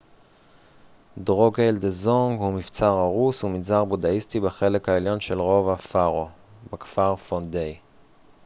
דרוקגייל דזונג הוא מבצר הרוס ומנזר בודהיסטי בחלק העליון של רובע פארו בכפר פונדיי